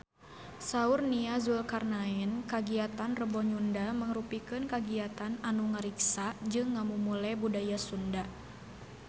Saur Nia Zulkarnaen kagiatan Rebo Nyunda mangrupikeun kagiatan anu ngariksa jeung ngamumule budaya Sunda